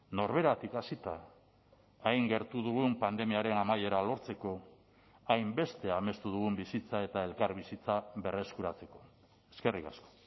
norberatik hasita hain gertu dugun pandemiaren amaiera lortzeko hainbeste amestu dugun bizitza eta elkarbizitza berreskuratzeko eskerrik asko